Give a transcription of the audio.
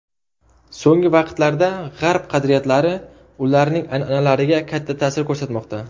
So‘nggi vaqtlarda g‘arb qadriyatlari ularning an’analariga katta ta’sir ko‘rsatmoqda.